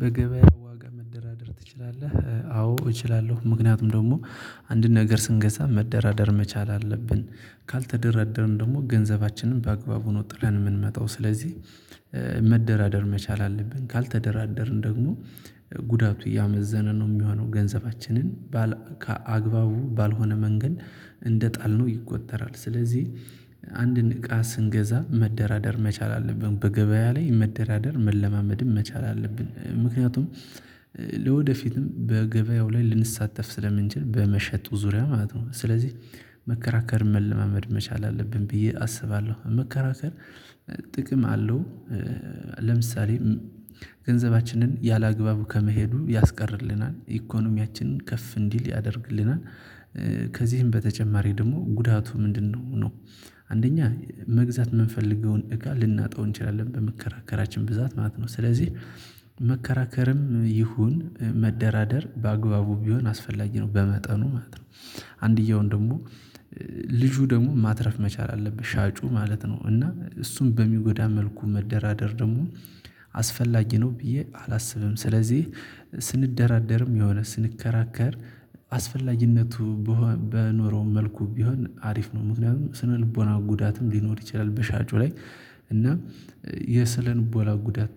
በገበያ ዋጋ መደራደር ትችላለህ? አዎ እችላለሁ ምክንያቱም ደግሞ አንድን ነገር ስንገዛ መደራደር መቻል አለብን ካልተደራደርን ደግሞ ገንዘባችንን በአግባቡ ነው ጥለን የምንመጣው ስለዚህ። መደራደር መቻል አለብን ካልተደራደርን ደግሞ ጉዳቱ እያመዘነ ነው የሚሆነው ገንዘባችንን ባል ከአግባቡ ባልሆነ መንገድ እንደጣልነው ይቆጠራል። ስለዚህ አንድን እቃ ስንገዛ መደራደር መቻል አለብን በገበያ ላይ መደራደር መለማመድም መቻል አለብን። ምክንያቱም ለወደፊትም በገበያው ላይ ልንሳተፍ ስለምንችል በመሸጡ ዙሪያ ማለት ነው። ስለዚህ መከራከር መለማመድ መቻል አለብን ብዬ አስባለሁ። መከራከር ጥቅም አለው። ለምሳሌ ገንዘባችንን ያላግባቡ ከመሄዱ ያስቀርልናል ኢኮኖሚያችንን ከፍ እንዲል ያደርግልናል። ከዚህም በተጨማሪ ደግሞ ጉዳቱ ምንድነው ነው። አንደኛ መግዛት የምንፈልገውን እቃ ልናጣው እንችላለን በመከራከራችን ብዛት ማለት ነው። ስለዚህ መከራከርም ይሁን መደራደር በአግባቡ ቢሆን አስፈላጊ ነው በመጠኑ ማለት ነው። አንዲያውን ደግሞ ልጁ ደግሞ ማትረፍ መቻል አለብህ ሻጩ ማለት ነው። እና እሱን በሚጎዳ መልኩ መደራደር ደግሞ አስፈላጊ ነው ብዬ አላስብም። ስለዚህ ስንደራደርም የሆነ ስንከራከር አስፈላጊነቱ በኖረው መልኩ ቢሆን አሪፍ ነው። ምክንያቱም ስነልቦናው ጉዳትም ሊኖር ይችላል። በሻጩ ላይ እና የስነልቦላ ጉዳት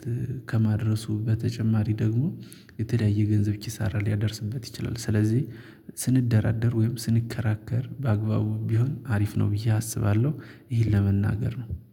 ከማድረሱ በተጨማሪ ደግሞ የተለያየ ገንዘብ ኪሳራ ሊያደርስበት ይችላል። ስለዚህ ስንደራደር ወይም ስንከራከር በአግባቡ ቢሆን አሪፍ ነው ብዬ አስባለሁ። ይህን ለመናገር ነው